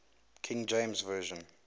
king james version